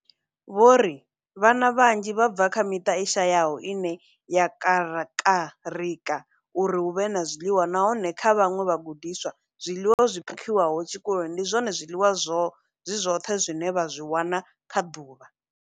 Vho ri, Vhana vhanzhi vha bva kha miṱa i shayaho ine ya kakarika uri hu vhe na zwiḽiwa, nahone kha vhaṅwe vhagudiswa, zwiḽiwa zwi phakhiwaho tshikoloni ndi zwone zwiḽiwa zwi zwoṱhe zwine vha zwi wana kha ḓuvha.